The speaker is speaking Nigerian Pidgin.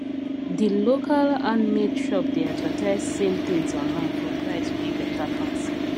di local handmade shop dey advertise same things online for price wey better pass